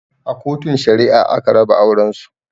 A Kotun Shari'a aka raba auren su.